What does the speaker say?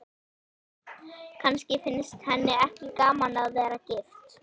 Kannski finnst henni ekki gaman að vera gift.